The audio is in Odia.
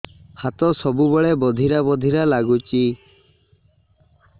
ହାତ ସବୁବେଳେ ବଧିରା ବଧିରା ଲାଗୁଚି